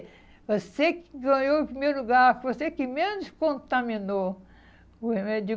Você que ganhou o primeiro lugar, você que menos contaminou o remédio.